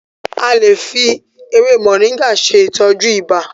A lè fi ewé Moringa ṣe ìtọ́jú ibà.